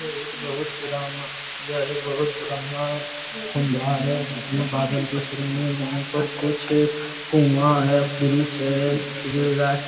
यह एक बहुत पुराना यह एक बहुत पुराना खंभा है जिसमे बादल दिख रहे हैं यहाँ पर और कुछ कुआ है वृक्ष है खजूर गाछ --